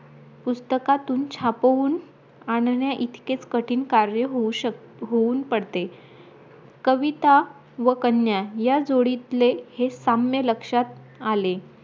पुस्तकातून छापवून आणण्या इतकेच कठीण कार्य होऊ शकते होऊन पडते कविता व कन्या या जोडीतले हे साम्य लक्षात आले